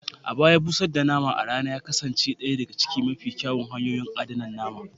A baya, busar da nama a rana ya kasance ɗaya daga cikin mafi kyawun hanyoyin adana nama